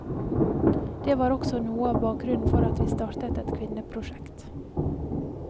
Det var også noe av bakgrunnen for at vi startet et kvinneprosjekt.